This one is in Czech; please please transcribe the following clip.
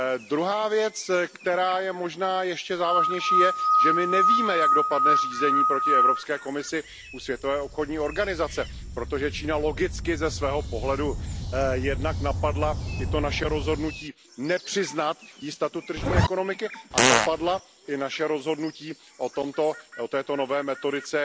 Druhá věc, která je možná ještě závažnější, je, že my nevíme, jak dopadne řízení proti Evropské komisi u Světové obchodní organizace, protože Čína logicky ze svého pohledu napadla jak to naše rozhodnutí nepřiznat jí statut tržní ekonomiky, tak i naše rozhodnutí o této nové metodice